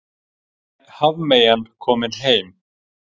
Hafmeyjan komin heim